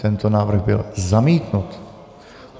Tento návrh byl zamítnut.